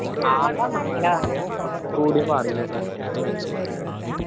കോടിയാ പറയുന്ന കേട്ട്